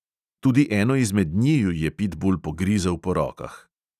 Tudi eno izmed njiju je pitbul pogrizel po rokah.